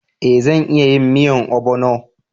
Eh zan iya yin miyan obono